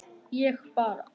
Ég bara.